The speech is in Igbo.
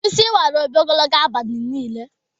Isi wara Obi ogologo abalị niile.